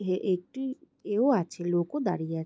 এ- একটি এও আছে লোক ও দাঁড়িয়ে আছে।